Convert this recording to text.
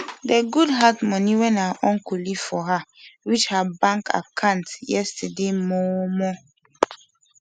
de goodheart moni wen her uncle leave for her reach her bank accant yesterday momo